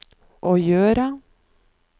å gjøre